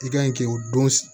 I kan yi k'o don